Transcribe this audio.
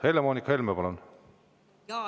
Helle-Moonika Helme, palun!